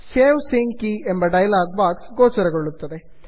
save sync ಕೆ ಎಂಬ dialog box ಗೋಚರವಾಗುತ್ತದೆ